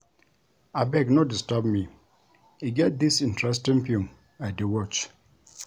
Abeg no disturb me, e get dis interesting film I dey watch